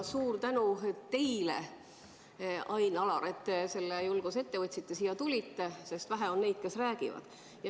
Ja suur tänu teile, Ain-Alar, et te julguse leidsite ja siia tulite, sest vähe on neid, kes räägivad.